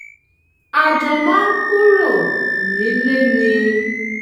a jọ máa ń kúrò nílé ni